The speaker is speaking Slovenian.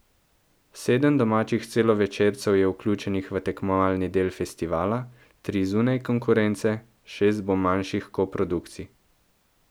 Sedem domačih celovečercev je vključenih v tekmovalni del festivala, tri zunaj konkurence, šest bo manjšinskih koprodukcij.